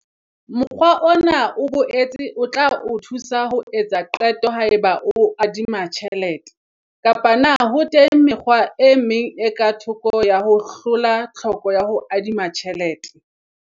Mokgwa ona o boetse o tla o thusa ho etsa qeto haeba o adima tjhelete kapa na ho teng mekgwa e meng e ka thoko ya ho hlola tlhoko ya ho adima tjhelete.